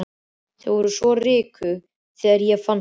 Þau voru svo rykug þegar ég fann þau.